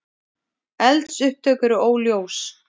Eldsupptök eru óljós